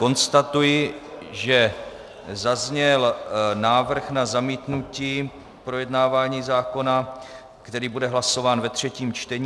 Konstatuji, že zazněl návrh na zamítnutí projednávání zákona, který bude hlasován ve třetím čtení.